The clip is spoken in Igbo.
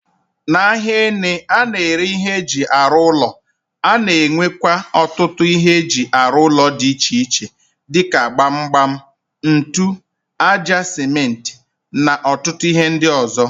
N'ahia ene a na-ere ihe eji aru ulo, a na-enwete otutu ihe eji aru ulo di iche iche dika gbam gbam, ntu, aja sementi na otutu ihe ndi ozo.